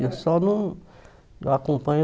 Eu só não eu acompanho.